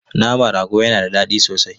Naman rago yana da daɗi sosai.